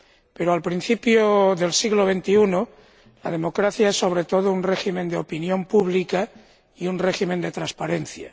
Pero al principio del siglo XXI la democracia es, sobre todo, un régimen de opinión pública y un régimen de transparencia.